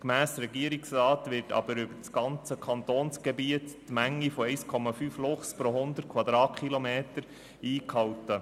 Gemäss Regierungsrat wird über das ganze Kantonsgebiet die Menge von 1,5 Luchsen pro Quadratkilometer eingehalten.